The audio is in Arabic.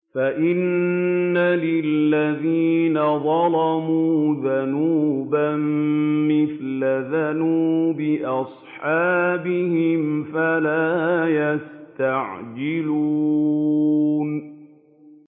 فَإِنَّ لِلَّذِينَ ظَلَمُوا ذَنُوبًا مِّثْلَ ذَنُوبِ أَصْحَابِهِمْ فَلَا يَسْتَعْجِلُونِ